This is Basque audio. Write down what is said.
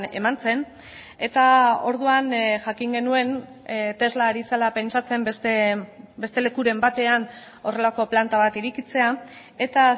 eman zen eta orduan jakin genuen tesla ari zela pentsatzen beste lekuren batean horrelako planta bat irekitzea eta